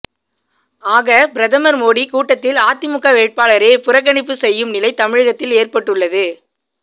ஆக பிரதமர் மோடி கூட்டத்தில் அதிமுக வேட்பாளரே புறக்கணிப்பு செய்யும் நிலை தமிழகத்தில் ஏற்பட்டுள்ளது